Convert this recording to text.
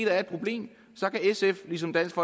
er et problem så kan sf ligesom dansk